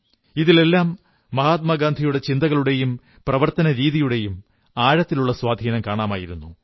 ഇതിലെല്ലാം മഹാത്മാ ഗാന്ധിയുടെ ചിന്താഗതികളുടെയും പ്രവർത്തനരീതിയുടെയും ആഴത്തിലുള്ള സ്വാധീനം കാണാമായിരുന്നു